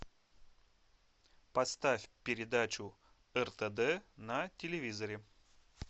поставь передачу ртд на телевизоре